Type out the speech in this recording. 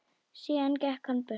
Síðan gekk hann burtu.